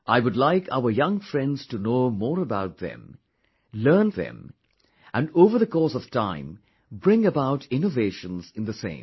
I would like our young friends to know more about them learn them and over the course of time bring about innovations in the same